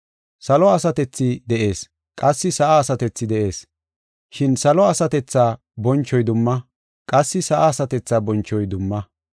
Salo asatethi de7ees; qassi sa7a asatethi de7ees. Shin salo asatethaa bonchoy dumma; qassi sa7a asatethaa bonchoy dumma.